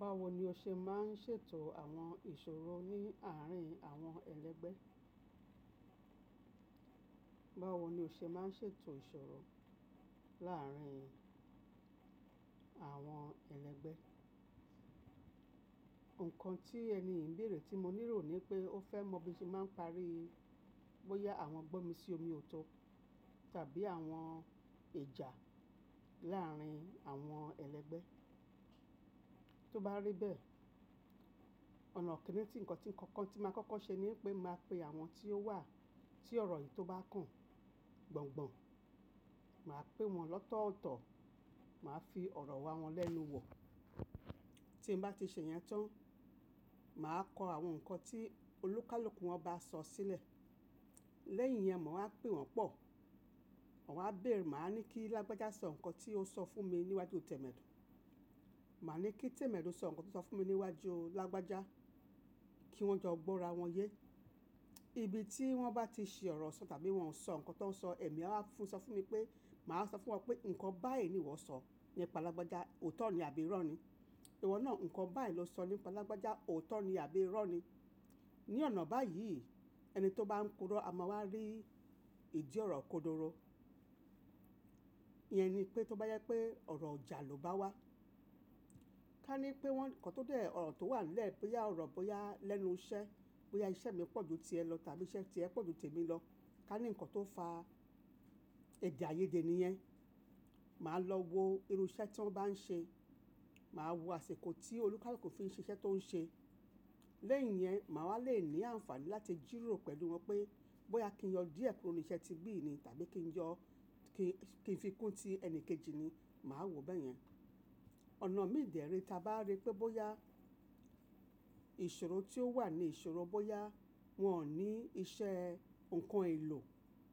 Báwo ni o ṣe máa ń ṣètò àwọn ìṣòro ní àárín àwọn ẹlẹgbẹ́? Báwo ni o ṣe máa ń ṣètò ìṣòro láàrín àwọn ẹlẹgbẹ́? Nǹkan tí ẹni yi n bèèrè tí mo níro ni pé ó fẹ́ mọ bí mo se máa ń parí bóyá àwọn gbọ́nmi sí omi ò to tàbí àwọn ijà láàrín àwọn ẹlẹgbẹ́. Tó bá rí bẹ́ẹ̀, ọ̀nà kìn-ín-ní tí ǹkan tí nkankan tí máa kọ́kọ́ ṣe ni pé màá pe àwọn tí ó wà tí ọ̀rọ̀ yìí tó bá kàn gbọ̀ngbọ̀n. Màá pe wọn lọ́tọ̀ọ̀tọ̀, màá fi ọ̀rọ̀ wa wọn lẹ́nu wọ̀. Tí mo bá ti ṣe ìyẹn tán, màá kọ àwọn ǹkan tí olúkálùkù wọn bá sọ sílẹ̀. Lẹ́yìn iyẹn, màá wa pè wọ́n pọ̀. Wọn á bèèrè, màá ní kí Lágbájá sọ ǹkan tí ó sọ fún mi níwájú Tamẹ́dù. Màá ní kí Tamẹ́dù sọ ǹkan tí ó sọ fún mi níwájú Lágbájá. Kí wọ́n jọ gbọ́ra wọn yé. Ibi tí wọ́n bá ti ṣi ọ̀rọ̀ sọ tàbí wọ́n sọ ǹkan tó ń sọ, èmi á wa fún sọ fún mi pé, màá sọ fún wọn pé ǹkan báyìí ni ìwọ sọ nípa Lágbájá, òótọ́ ni àbí irọ́ ni? Ìwọ náà ǹkan báyìí ló sọ nípa Lágbájá, òótọ́ ni àbí irọ́ ni? Ní ọ̀nà báyìí ẹni tó bá ń purò a máa wá rí ìdí ọ̀rọ̀ kodoro. Iyẹn ni pé tó bá jẹ pé ọ̀rọ̀jà lò bá wá. Ká ní pé wọn ǹkan tó dẹ́ ọ̀rọ̀ tó wà nílẹ̀ boyà ọ̀rọ̀ bóyá lẹ́nu iṣẹ́, bóyá iṣẹ́ mi pọ̀ ju tiẹ lọ tàbí iṣẹ́ tiẹ pọ̀ ju tèmi lọ. Kání ǹkan tó fa èdè àìyedè niyẹn. Màá lọ wo irú iṣẹ́ tí wọ́n bá ń ṣe. Màá wo àsikọ̀ tí olúkálùkù fi ń ṣe iṣẹ́ tó ń ṣe. Lẹ́yìn yẹn, màá wá lè ní àǹfààní láti jìrò pẹ̀lú wọn pé bóyá kí n yọ díẹ̀ kúrò ní iṣẹ́ ti bí yìí ni tàbí kí n yọ kí ń fi kún ti ẹni kejì ni. Màá wò bẹ́yẹn. Ọ̀nà mii dẹ́ re tí a bá rí pé bóyá ìṣòro tí ó wà ni ìṣòro bóyá wọ́n ò ní iṣẹ́, ǹkan èlò,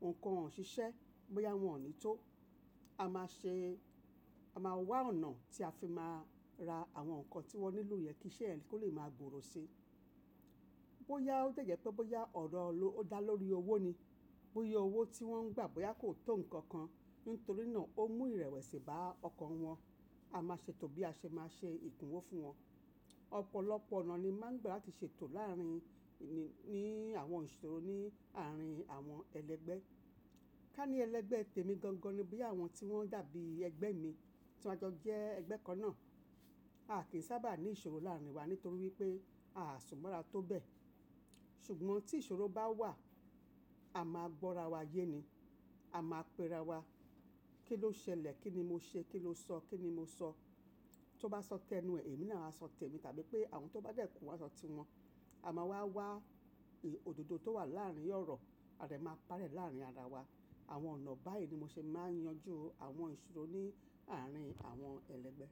ǹkan wòǹ o ṣiṣẹ́, bóyá wọ́n ò ní tó. A máa ṣe, a máa wá ọ̀nà tí a fi máa ra àwọn ǹkan tí wọ́n nílò yẹn kí iṣẹ́ yẹn kó lè máa gbòòrò si. Bóyá ó dẹ̀ jẹ pé bóyá ọ̀rọ̀ ló dá lórí owó ni. Bóyá owó tí wọ́n ń gbà bóyá kò tó ǹkan kan nítorí náà ó mú ìrẹ̀wẹ̀sì bá ọkan wọn. A máa ṣetó bí a ṣe máa ṣe ìkùnwó fún wọn. Ọ̀pọ̀lọpọ̀ ọ̀nà ni màá ń gbà láti ṣètò láàrín ní àwọn ìṣòro ní àárín àwọn ẹlẹgbẹ́. Ká ní ẹlẹgbẹ́ tèmi gangan ni bóyá àwọn tí wọ́n dàbí ẹgbẹ́ mi tí a jọ jẹ́ ẹgbẹ́ kan náà. A kìí sábà ní ìṣòro láàrín wa nítorí wípé a sùnmọ́ra tó bẹ́ẹ̀. Ṣùgbọ́n tí ìṣòro bá wà, a máa gbọ́ra wa yé ni. A máa pera wa. Kí ló ṣẹlẹ̀? Kí ni mo ṣe? Kí ló sọ? Kí ni mo sọ? Tó bá sọ tẹnu ẹ, èmi náà á sọ tèmi tàbí pé àwọn tó bá dẹ́ku wọ́n á sọ ti wọn. A máa wá wá òdodo tó wà láàrín ọ̀rọ̀, a dè máa pari ẹ̀ láàrín ara wa. Àwọn ọ̀nà báyìí ni mo ṣe máa ń yanjú àwọn ìṣòro ní àárín àwọn ẹlẹgbẹ́.